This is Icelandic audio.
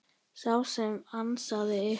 Sá sem ansaði ykkur.